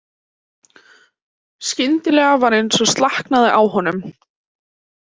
Skyndilega var eins og slaknaði á honum.